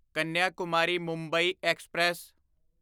Kanyakumari Mumbai express